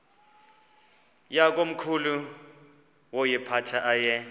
yakomkhulu woyiphatha aye